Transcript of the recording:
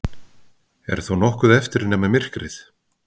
Er þá nokkuð eftir nema myrkrið?